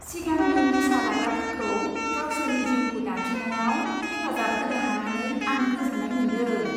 सिगांनि निसा लाग्राफोरखौ गावसोरनि जिउखौ दाफिन्नायाव हेफाजाब होनो हानानै आं गोजोन्नाय मोन्दों।